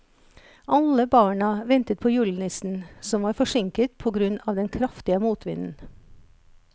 Alle barna ventet på julenissen, som var forsinket på grunn av den kraftige motvinden.